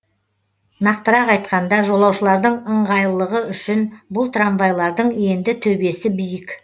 нақтырақ айтқанда жолаушылардың ыңғайлығы үшін бұл трамвайлардың енді төбесі биік